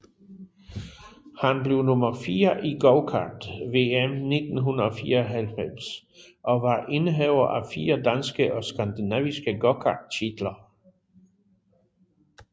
Han blev nummer 4 i gokart VM 1994 og var indehaver af 4 danske og skandinaviske gokarttitler